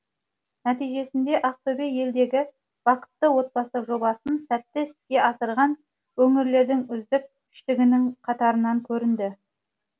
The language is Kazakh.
нәтижесінде ақтөбе елдегі бақытты отбасы жобасын сәтті іске асырған өңірлердің үздік үштігінің қатарынан көрінді